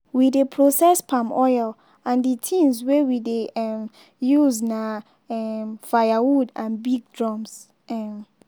we dey process palm oil and the things wey we dey um use na um firewood and big drums. um